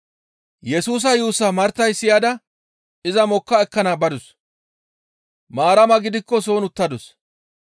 Yesusa yuussaa Martay siyada iza mokka ekkana badus; Maarama gidikko soon uttadus.